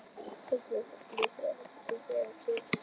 Fæturnir eins og blý þegar hann fikrar sig niður tröppurnar.